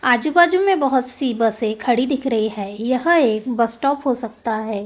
आजू-बाजू में बहुत सी बसें खड़ी दिख रही है यह एक बस स्टॉप हो सकता है।